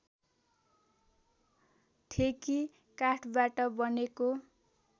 ठेकी काठबाट बनेको